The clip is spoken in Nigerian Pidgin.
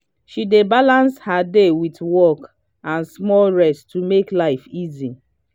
she dey balance her day wit work and small rest to make life easy.